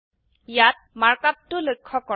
ইয়াত মাৰ্ক আপটো লক্ষ্য কৰক